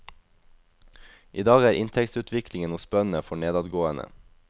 I dag er inntektsutviklingen hos bøndene for nedadgående.